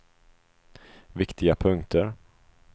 viktiga punkter